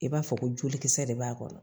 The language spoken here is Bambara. I b'a fɔ ko jolikisɛ de b'a kɔnɔ